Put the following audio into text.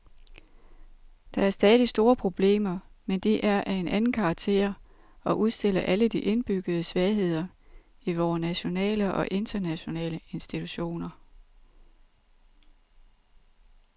Der er stadig store problemer, men de er af en anden karakter og udstiller alle de indbyggede svagheder i vore nationale og internationale institutioner.